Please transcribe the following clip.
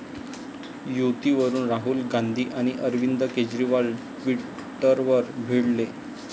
युतीवरून राहुल गांधी आणि अरविंद केजरीवाल ट्विटरवर भिडले